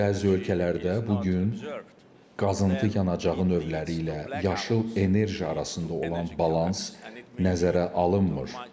Bəzi ölkələrdə bu gün qazıntı yanacağı növləri ilə yaşıl enerji arasında olan balans nəzərə alınmır.